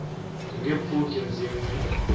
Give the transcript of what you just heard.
nge pfuki ndzi n wi